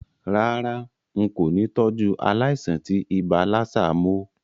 Rárá, n kò ni tọ́jú aláìsàn tí ibà lassa mó